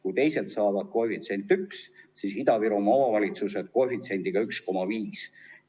Kui teised saavad koefitsiendiga 1, siis Ida-Virumaa omavalitsused saavad koefitsiendiga 1,5.